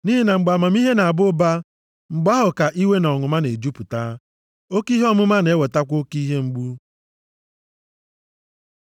Nʼihi na mgbe amamihe na-aba ụba, mgbe ahụ ka iwe na ọnụma na-ejupụta, oke ihe ọmụma na-ewetakwa oke ihe mgbu.